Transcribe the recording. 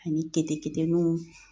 Ani keteketenunw